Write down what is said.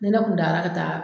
Ni ne kun taara ka taa